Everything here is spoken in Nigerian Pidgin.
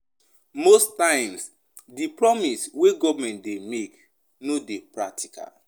Most times di promise wey government dey make no dey practical